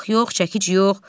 Mıx yox, çəkic yox.